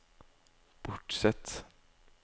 B O R T S E T T